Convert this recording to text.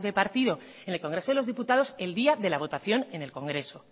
partido en el congreso de los diputados el día de la votación en el congreso